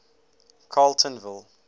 carletonville